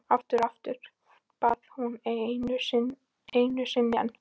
Aftur og aftur, bað hún og einu sinni enn.